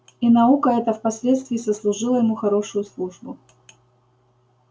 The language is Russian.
и наука эта впоследствии сослужила ему хорошую службу